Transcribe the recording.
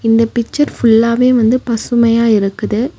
இந்த பிச்சர் ஃபுல்லாவே வந்து பசுமையா இருக்குது.